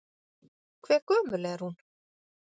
Hve gömul er hún?